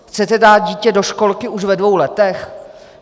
Chcete dát dítě do školky už ve dvou letech?